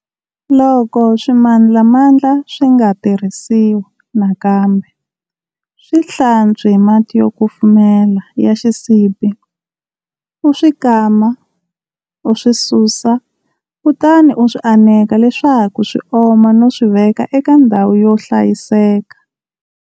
Loko swimandlamandla swi nga tirhisiwa nakambe, swi hlantswi hi mati yo kumfumela ya xisibi, u swi kama, u swi susa, kutani u swi aneka leswaku swi oma no swi veka eka ndhawu yo hlayisaka.